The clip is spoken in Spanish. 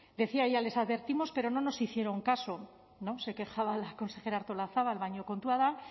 decía ella les advertimos pero no nos hicieron caso se quejaba la consejera artolazabal baina kontua da